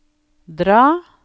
dra